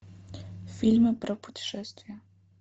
фильмы про путешествия